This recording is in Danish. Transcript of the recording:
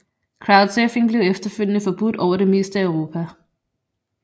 Crowdsurfing blev efterfølgende forbudt over det meste af Europa